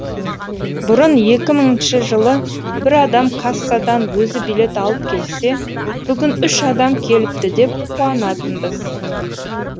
бұрын екі мыңыншы жылы бір адам кассадан өзі билет алып келсе бүгін үш адам келіпті деп қуанатынбыз